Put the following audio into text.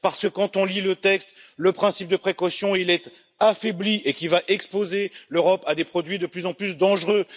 Parce que, quand on lit le texte, on voit que le principe de précaution est affaibli et que cela va exposer l'Europe à des produits de plus en plus dangereux.